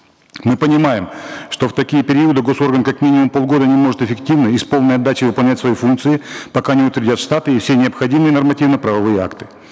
мы понимаем что в такие периоды гос орган как минимум полгода не может эффективно и с полной отдачей выполнять свои функции пока не утвердят штаты и все необходимые нормативно правовые акты